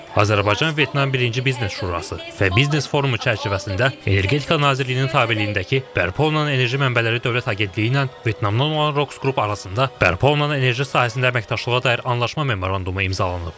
Azərbaycan-Vyetnam birinci biznes şurası və biznes forumu çərçivəsində Energetika Nazirliyinin tabeliyindəki bərpa olunan enerji mənbələri Dövlət Agentliyi ilə Vyetnamdan olan Roxs qrup arasında bərpa olunan enerji sahəsində əməkdaşlığa dair anlaşma memorandumu imzalanıb.